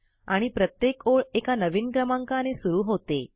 आणि प्रत्येक ओळ एका नवीन क्रमांकाने सुरू होते